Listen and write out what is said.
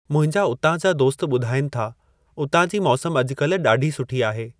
मुंहिंजा उतां जा दोस्त ॿुधाईनि था उतां जी मौसम अज॒कल्ह डा॒ढी सुठी आहे।